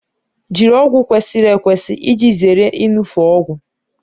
Jiri ọgwụ kwesịrị ekwesị iji zere iṅufe ọgwụ